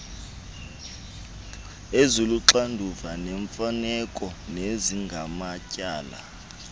eziluxanduva lemfaneleko nezingamatyala